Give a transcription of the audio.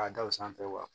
K'a da o sanfɛ wa